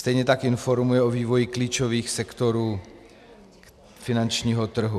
Stejně tak informuje o vývoji klíčových sektorů finančního trhu.